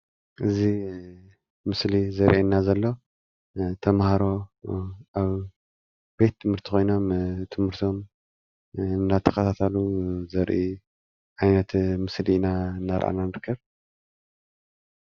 እዚ ምስሊ ዘርእየና ዘሎ ተምሃሮ ኣብ ቤተ ትምህርቲ ኮይኖም ትምርቶም እንዳተካታተሉ ዘርኢ ዓይነት ምስሊ እናራኣና ንርከብ::